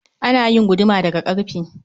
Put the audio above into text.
Ana yin guduma da ga karfe